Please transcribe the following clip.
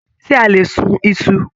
Ṣe a lè sún Isu?